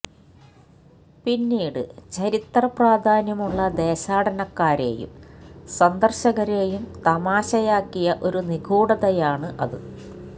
പിന്നീട് ചരിത്രപ്രാധാന്യമുള്ള ദേശാടനക്കാരെയും സന്ദർശകരേയും തമാശയാക്കിയ ഒരു നിഗൂഢതയാണ് അത്